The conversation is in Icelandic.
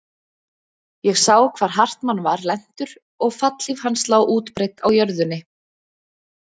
Ég sá hvar Hartmann var lentur og fallhlíf hans lá útbreidd á jörðunni.